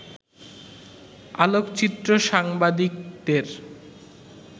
আলোকচিত্র সাংবাদিকদের